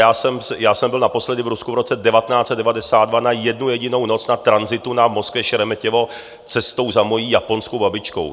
Já jsem byl naposledy v Rusku v roce 1992 na jednu jedinou noc na tranzitu na Moskvě Šeremetěvo cestou za mojí japonskou babičkou.